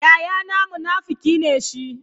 Yayana munafuki ne shi.